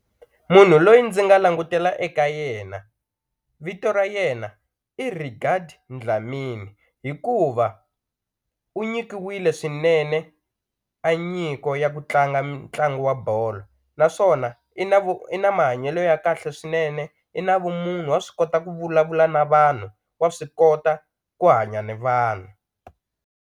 Munhu loyi ndzi nga langutela eka yena vito ra yena i Regard Dlamini hikuva u nyikiwile swinene a nyiko ya ku tlanga mitlangu wa bolo naswona i na i na mahanyelo ya kahle swinene i na vumunhu wa swi kota ku vulavula na vanhu wa swi kota ku hanya ni vanhu.